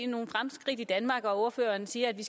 nogle fremskridt i danmark og ordføreren siger at vi